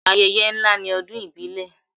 Ayẹyẹ ńlá ni ọdún ìbílẹ̀.